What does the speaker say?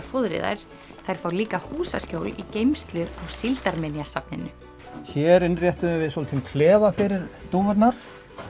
fóðri þær þær fá líka húsaskjól í geymslu á Síldarminjasafninu hér innréttuðum við lítinn klefa fyrir dúfurnar